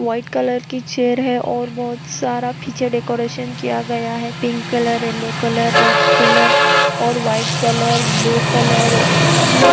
white colour की chair है और बोहोत सारा पीछे डेकोरेशन किया गया है pink colour yellow colour red colour और वाइट कलर ब्लू कलर उ--